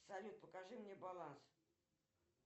салют покажи мне баланс